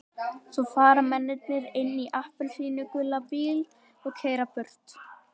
Svo fara mennirnir inn í appelsínugulan bíl og keyra burtu.